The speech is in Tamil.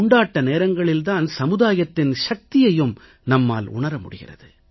கொண்டாட்ட நேரங்களில் தான் சமுதாயத்தின் சக்தியையும் நம்மால் உணர முடிகிறது